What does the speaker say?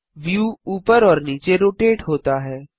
view ऊपर और नीचे रोटेट होता है